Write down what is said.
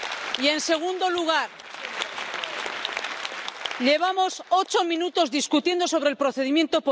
Y, en segundo lugar, llevamos ocho minutos discutiendo sobre el procedimiento.